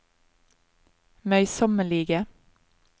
møysommelige